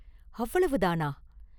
அவ்வளவுதானா?